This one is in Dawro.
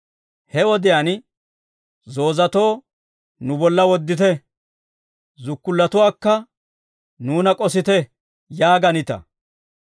He wodiyaan, ‹Zoozatoo, nu bolla woddite; zukkullatuwaakka, nuuna k'osite› yaaganita.